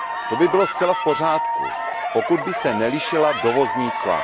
To by bylo zcela v pořádku, pokud by se nelišila dovozní cla.